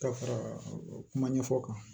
Ka fara kuma ɲɛfɔ kan